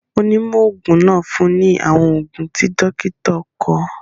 Onímọ̀ òògùn náà fun ní àwọn òògùn í dọ́kítà kọ.